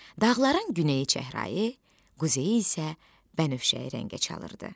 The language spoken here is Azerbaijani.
Dağların güneyi çəhrayı, quzeyi isə bənövşəyi rəngə çalırdı.